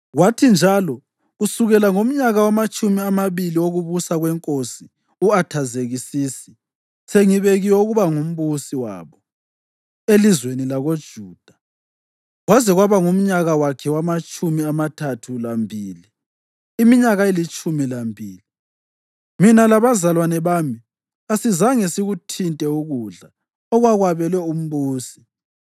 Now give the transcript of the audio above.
Kwathi njalo, kusukela ngomnyaka wamatshumi amabili wokubusa kweNkosi u-Athazekisisi, sengibekiwe ukuba ngumbusi wabo elizweni lakoJuda, kwaze kwaba ngumnyaka wakhe wamatshumi amathathu lambili, iminyaka elitshumi lambili, mina labazalwane bami kasizange sikuthinte ukudla okwakwabelwe umbusi.